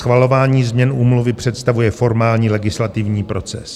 Schvalování změn úmluvy představuje formální legislativní proces.